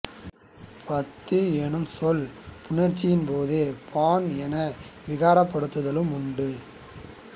பத்து என்னும் சொல் புணர்ச்சியின்போது பான் என விகாரப்படுதலும் உண்டு